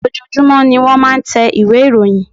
Ojoojumọ ní wọ́n máà ń tẹ ìwé ìròyìn.